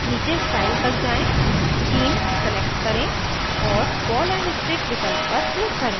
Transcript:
नीचे style तक जाएँ scheme select करें और ball and stick विकल्प पर click करें